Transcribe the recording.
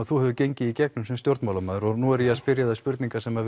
þú hefur gengið í gegnum sem stjórnmálamaður og nú er ég að spyrja þig spurninga sem